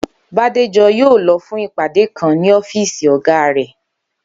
Bádéjó̩ yóò lo̩ fún ìpàdé kan ní ó̩fíìsì ò̩gá rè̩